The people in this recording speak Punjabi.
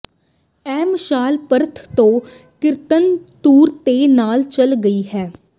ਇਹ ਮਸ਼ਾਲ ਪਰਥ ਤੋਂ ਕੀਰਤਨ ਟੂਰ ਦੇ ਨਾਲ ਚੱਲ ਰਹੀ ਸੀ